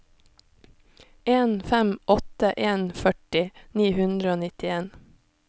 en fem åtte en førti ni hundre og nittien